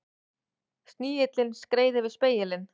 Snigillinn skreið yfir spegilinn.